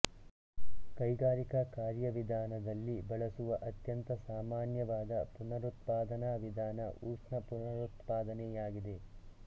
ಕೈಗಾರಿಕಾ ಕಾರ್ಯವಿಧಾನದಲ್ಲಿ ಬಳಸುವ ಅತ್ಯಂತ ಸಾಮಾನ್ಯವಾದ ಪುನರುತ್ಪಾದನಾ ವಿಧಾನ ಉಷ್ಣ ಪುನರುತ್ಪಾದನೆಯಾಗಿದೆ